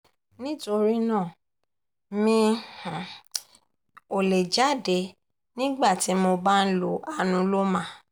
nítorí náà mi um ò lè jáde nígbà tí mo bá ń lo anuloma